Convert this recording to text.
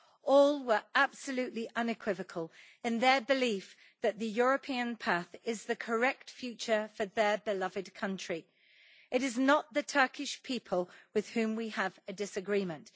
All were absolutely unequivocal in their belief that the European path is the correct future for their beloved country. It is not the Turkish people with whom we have a disagreement.